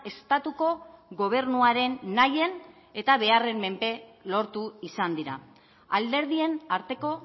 estatuko gobernuaren nahien eta beharren menpe lortu izan dira alderdien arteko